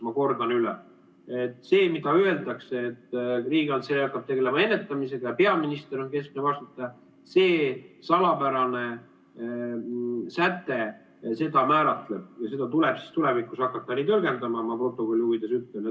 Ma kordan üle: see, et Riigikantselei hakkab tegelema ennetamisega ja peaminister on keskne vastutaja, see salapärane säte seda määratleb ja seda tuleb siis tulevikus hakata nii tõlgendama, ma protokolli huvides ütlen.